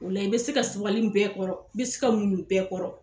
Ola la i be se ka sabali bɛɛ kɔrɔ, i be se ka muɲu bɛɛ kɔrɔ.